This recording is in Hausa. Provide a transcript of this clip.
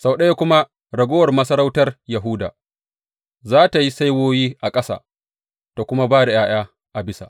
Sau ɗaya kuma ragowar masarautar Yahuda za tă yi saiwoyi a ƙasa ta kuma ba da ’ya’ya a bisa.